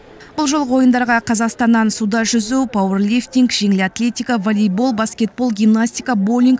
бұл жолғы ойындарға қазақстаннан суда жүзу пауэрлифтинг жеңіл атлетика волейбол баскетбол гимнастика боулинг